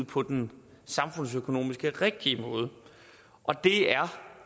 på den samfundsøkonomisk rigtige måde og det er